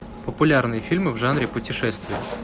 популярные фильмы в жанре путешествия